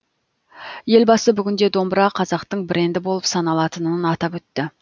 елбасы бүгінде домбыра қазақтың бренді болып саналатынын атап өтті